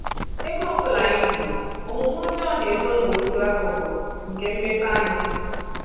Ebe ọ bụla anyị bi, omume ọjọọ na-ezo n’okpuru aghụghọ nke mmepeanya.